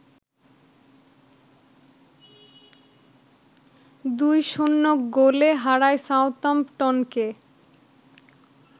২-০ গোলে হারায় সাউদাম্পটনকে